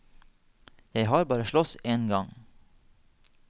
Jeg har bare slåss en gang.